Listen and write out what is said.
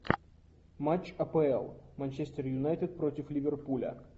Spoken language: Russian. матч апл манчестер юнайтед против ливерпуля